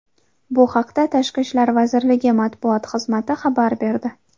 Bu haqda Tashqi ishlar vaziriligi matbuot xizmati xabar berdi .